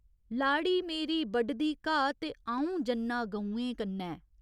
लाड़ी मेरी बढदी घाऽ ते अ'ऊं जन्नां गौएं कन्नै।